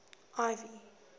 ivy